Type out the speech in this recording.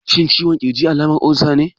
Shin ciwon ƙirji alamar olsa ne?